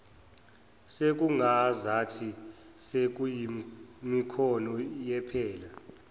sekungazathi sekuyimikhono yephela